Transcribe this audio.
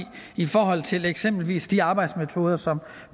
i forhold til eksempelvis de arbejdsmetoder som